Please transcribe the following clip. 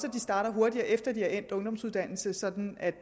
at de starter hurtigere efter endt ungdomsuddannelse sådan at